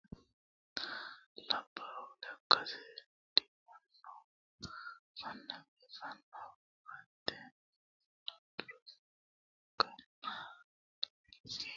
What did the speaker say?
Labbalu lekkansa diwanoha kone biifano koatte lukkanna la'nanni woyte halchishano biinfiluno ledanoho kaajjado saadate qodini loonsoniha ikkino daafira seeda yanna heera dandaano.